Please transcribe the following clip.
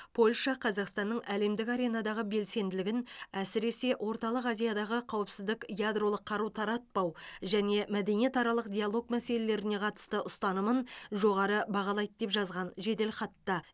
польша қазақстанның әлемдік аренадағы белсенділігін әсіресе орталық азиядағы қауіпсіздік ядролық қару таратпау және мәдениетаралық диалог мәселелеріне қатысты ұстанымын жоғары бағалайды деп жазған жеделхатта